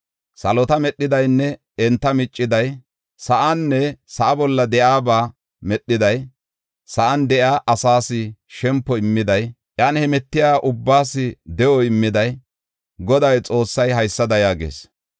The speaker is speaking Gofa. Salota medhidaynne enta micciday, sa7aanne sa7a bolla de7iyaba medhiday, sa7an de7iya asaas shempo immiday, iyan hemetiya ubbaas de7o immiday, Godaa Xoossay haysada yaagees.